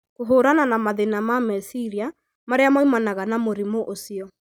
kũhũrana na mathĩna ma meciria marĩa moimanaga na mũrimũ ũcio.